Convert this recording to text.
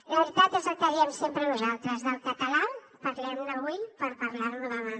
la veritat és el que diem sempre nosaltres del català parlem ne avui per parlar lo demà